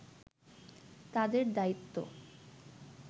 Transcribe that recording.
তাদের দায়িত্ব